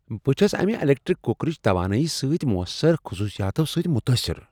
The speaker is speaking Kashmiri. بہٕ چھس امہ الیکٹرک کُکرٕچ توانٲیی سۭتۍ موثر خصوصیاتو سۭتۍ متٲثر۔